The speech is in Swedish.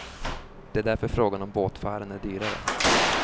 Det är därför frågan om båtfärden är dyrare.